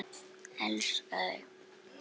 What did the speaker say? Elska þig!